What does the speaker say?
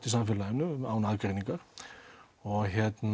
í samfélaginu án aðgreiningar og